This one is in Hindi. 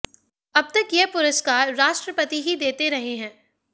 अब तक यह पुरस्कार राष्ट्रपति ही देते रहे हैं